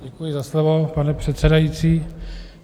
Děkuji za slovo, pane předsedající.